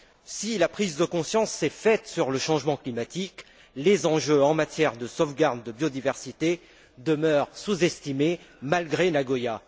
Si la prise de conscience s'est faite sur le changement climatique, les enjeux en matière de sauvegarde de biodiversité demeurent sous estimés, malgré Nagoya.